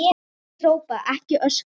Ekki hrópa, ekki öskra!